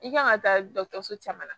I kan ka taa dɔkitɛriso caman na